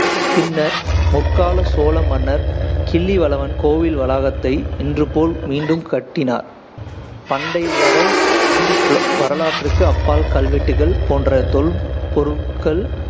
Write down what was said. பின்னர், முற்கால சோழ மன்னர் கிள்ளிவளவன் கோயில் வளாகத்தை இன்று போல் மீண்டும் கட்டினார். பண்டை வரை வரலாற்றிற்கு அப்பால் கல்வெட்டுகள் போன்ற தொல்பொருள்கள்